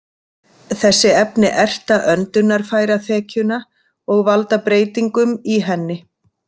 Þessi efni erta öndunarfæraþekjuna og valda breytingum í henni.